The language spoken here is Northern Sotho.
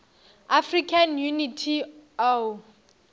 african unity oau